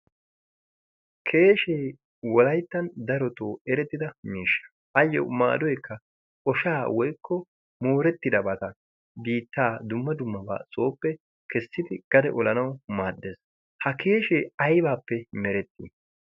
keeshshee wollayttan darottoo erettida miishsha. ayyoo maadoykka ooshshaa woykko moorettidabata biittaa dumma dummabaa keessidi kare oolanawu maaddees. ha keshshee aybappe merettii?